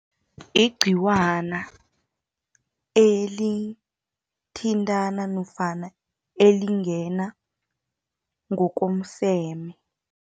Igciwana, elithintana nofana, elingena ngokomseme.